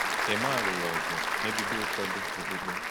Emma lụrụ ọgụ megide ụfọdụ okpukpe.